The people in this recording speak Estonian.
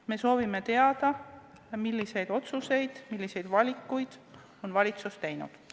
Me soovime teada, milliseid otsuseid, milliseid valikuid on valitsus teinud.